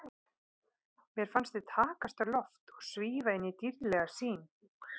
Mér fannst við takast á loft og svífa inn í dýrðlega sýn.